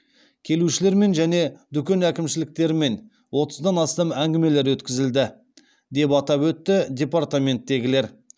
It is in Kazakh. келушілермен және дүкен әкімшіліктерімен отыздан астам әңгімелер өткізілді деп атап өтті департаментегілер